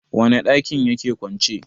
wane dakin ya ke kwance?